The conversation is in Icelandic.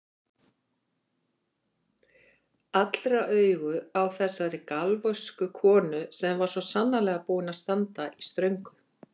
Allra augu á þessari galvösku konu sem var svo sannarlega búin að standa í ströngu.